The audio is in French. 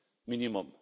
minimum.